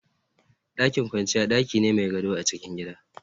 Dakin kwanciya daki ne mai gado a cikin gida